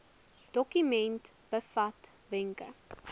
dokument bevat wenke